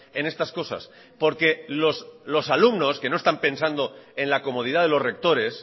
en estas cosas porque los alumnos que no están pensando en la comodidad de los rectores